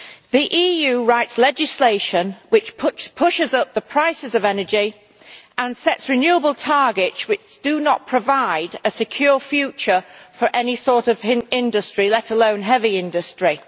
The EU writes legislation which pushes up the price of energy and sets renewable targets which do not provide a secure future for any sort of industry, let alone heavy industry.